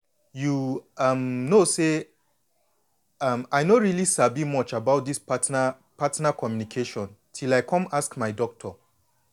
you um know um say i no really sabi much about this partner partner communication till i come ask my doctor.